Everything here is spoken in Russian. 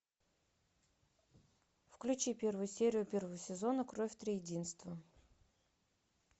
включи первую серию первого сезона кровь триединства